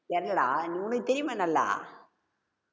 தெர்லடா உனக்கு தெரியுமே நல்லா